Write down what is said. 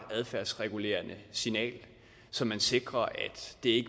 adfærdsregulerende signal så man sikrer at det